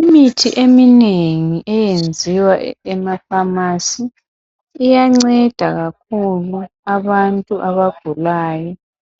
Imithi eminengi eyenziwa ema pharmacy iyanceda kakhulu abantu abagulayo.